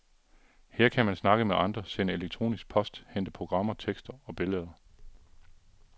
Her kan man snakke med andre, sende elektronisk post, hente programmer, tekster og billeder.